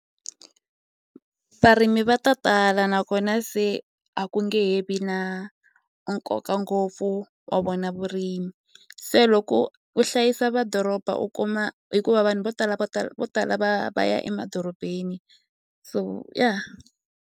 Varimi va ta tala nakona se a ku nge he vi na nkoka ngopfu wa vona vurimi se loko u hlayisa madoroba u kuma hikuva vanhu vo tala vo tala vo tala va va ya va ya emadorobeni so ya.